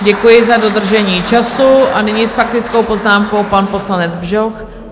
Děkuji za dodržení času a nyní s faktickou poznámkou pan poslanec Bžoch.